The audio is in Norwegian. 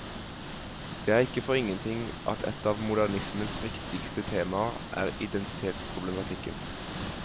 Det er ikke for ingenting at et av modernismens viktigste temaer er identitetsproblematikken.